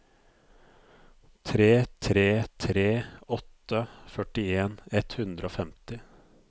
tre tre tre åtte førtien ett hundre og femti